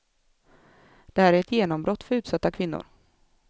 Det här är ett genombrott för utsatta kvinnor.